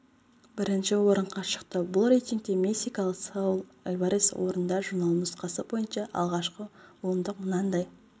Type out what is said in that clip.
бірінші орынға шықты бұл рейтингте мексикалық сауль альварес орында журналы нұсқасы бойынша алғашқы ондық мынандай